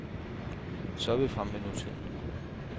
Så er vi fremme ved nutiden.